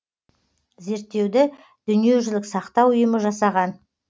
зерттеуді дүниежүзілік сақтау ұйымы жасаған